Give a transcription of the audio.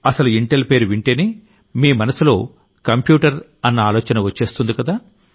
అసలు ఇంటెల్ పేరు వింటేనే మీ మనసులో కంప్యూటర్ అన్న ఆలోచన వచ్చేస్తుందికదా